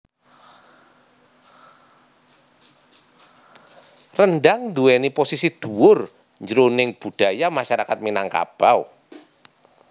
Rendhang nduwèni posisi dhuwur jroning budaya masyarakat Minangkabau